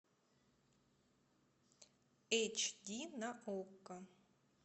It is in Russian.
эйч ди на окко